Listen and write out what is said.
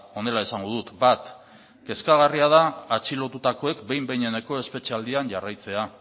honela esango dut bat kezkagarria da atxilotutakoak behin behineko espetxealdian jarraitzea